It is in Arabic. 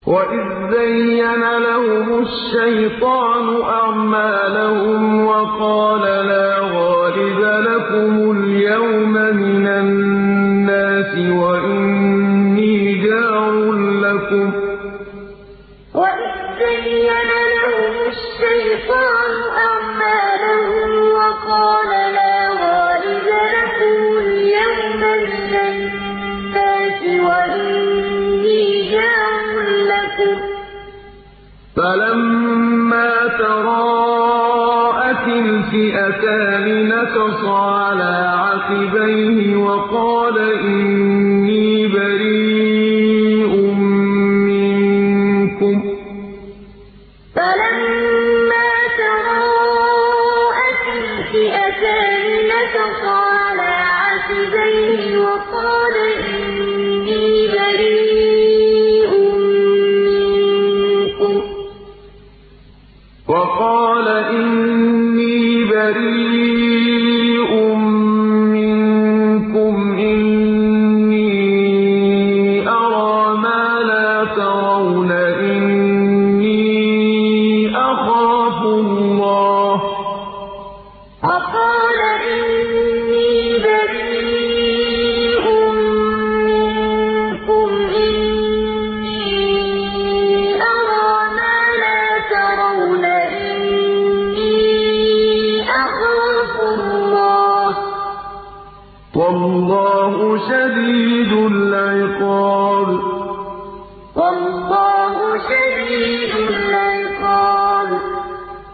وَإِذْ زَيَّنَ لَهُمُ الشَّيْطَانُ أَعْمَالَهُمْ وَقَالَ لَا غَالِبَ لَكُمُ الْيَوْمَ مِنَ النَّاسِ وَإِنِّي جَارٌ لَّكُمْ ۖ فَلَمَّا تَرَاءَتِ الْفِئَتَانِ نَكَصَ عَلَىٰ عَقِبَيْهِ وَقَالَ إِنِّي بَرِيءٌ مِّنكُمْ إِنِّي أَرَىٰ مَا لَا تَرَوْنَ إِنِّي أَخَافُ اللَّهَ ۚ وَاللَّهُ شَدِيدُ الْعِقَابِ وَإِذْ زَيَّنَ لَهُمُ الشَّيْطَانُ أَعْمَالَهُمْ وَقَالَ لَا غَالِبَ لَكُمُ الْيَوْمَ مِنَ النَّاسِ وَإِنِّي جَارٌ لَّكُمْ ۖ فَلَمَّا تَرَاءَتِ الْفِئَتَانِ نَكَصَ عَلَىٰ عَقِبَيْهِ وَقَالَ إِنِّي بَرِيءٌ مِّنكُمْ إِنِّي أَرَىٰ مَا لَا تَرَوْنَ إِنِّي أَخَافُ اللَّهَ ۚ وَاللَّهُ شَدِيدُ الْعِقَابِ